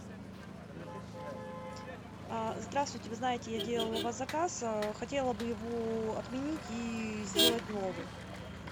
а здравствуйте вы знаете я делала у вас заказ хотела бы его отменить и сделать новый